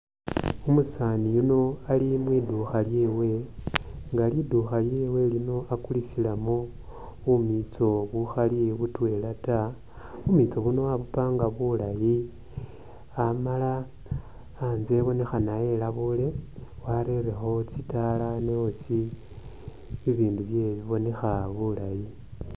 Umusaani yuno ali mwiduukha lyewe nga liduukha lino akulisilamu bumiitso bukhali butwela taa. Bumitso buno wabupanga bulaayi amala anzye ibonekhana elabuule warerekho tsitaala ne hosi bibindu byewe bibonekha bulaayi.